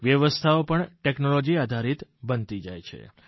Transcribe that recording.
વ્યવસ્થાઓ પણ ટેકનોલોજી આધારિત બનતી જાય છે